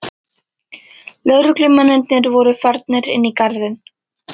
Lögreglumennirnir voru farnir inn í garðinn.